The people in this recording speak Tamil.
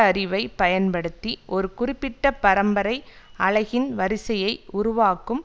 அறிவை பயன்படுத்தி ஒருகுறிப்பிட்ட பரம்பரை அலகின் வரிசையை உருவாக்கும்